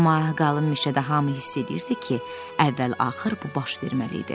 Amma qalın meşədə hamı hiss edirdi ki, əvvəl-axır bu baş verməli idi.